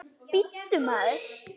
Bíddu, maður!